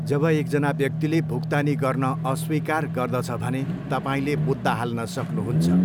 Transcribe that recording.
जब एकजना व्यक्तिले भुक्तानी गर्न अस्वीकार गर्दछ भने, तपाईँले मुद्दा हाल्न सक्नुहुन्छ।